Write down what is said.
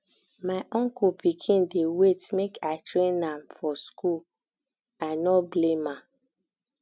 my uncle pikin dey wait make i train am for skool for skool i no blame am